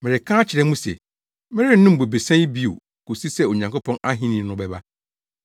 Mereka akyerɛ mo se, merennom bobesa yi bi bio kosi sɛ Onyankopɔn ahenni no bɛba.”